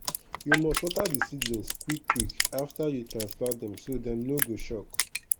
you must water di seedlings quick quick after you transplant dem so dem no go shock.